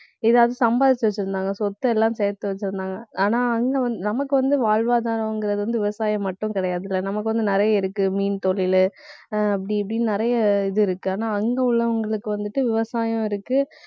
ஏதாவது சம்பாதிச்சு வச்சிருந்தாங்க. சொத்தெல்லாம் சேர்த்து வச்சிருந்தாங்க. ஆனா அங்க வந்~ நமக்கு வந்து, வாழ்வாதாரங்கிறது வந்து, விவசாயம் மட்டும் கிடையாதுல்ல. நமக்கு வந்து, நிறைய இருக்கு மீன் தொழிலு அஹ் அப்படி இப்படின்னு நிறைய இது இருக்கு. ஆனா அங்க உள்ளவங்களுக்கு வந்துட்டு விவசாயம் இருக்கு.